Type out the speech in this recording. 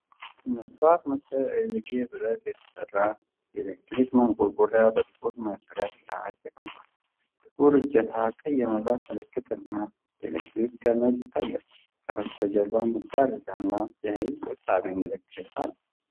መስታወት መሰል አይዝጌ ብረት የተሠራ የኤሌክትሪክ ማንቆርቆሪያ በጥቁር መሠረት ላይ ተቀምጧል። ጥቁር እጀታ፣ ቀይ የመብራት ምልክትና የኤሌክትሪክ ገመድ ይታያሉ። ከበስተጀርባ መጋረጃ እና የኃይል ቆጣቢ ምልክት አለ።